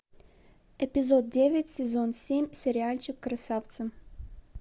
эпизод девять сезон семь сериальчик красавцы